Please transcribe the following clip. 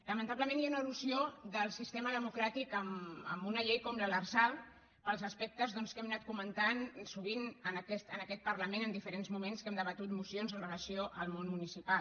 lamentablement hi ha una elusió del sistema democràtic en una llei com l’lrsal pels aspectes que hem anat comentant sovint en aquest parlament en diferents moments que hem debatut mocions amb relació al món municipal